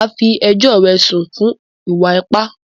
Màá fí ẹjọ́ rẹ̀ sùn fún ìwà ipá!